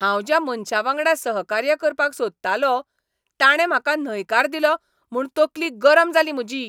हांव ज्या मनशावांगडा सहकार्य करपाक सोदतालों , ताणें म्हाका न्हयकार दिलो म्हूण तकली गरम जाली म्हजी.